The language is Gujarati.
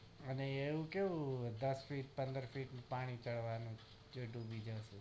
આને એમ કેવું દશ feet પંદર feet પાણી ચડવાનું છે તે ડૂબી જયશું